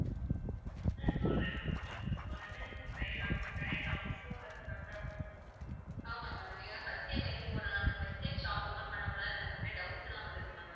ஆமா ma'am first time வைக்கப்போறதனால, first time shop open பண்ணப்போறதனால, நிறைய doubts லாம் வருது ma'am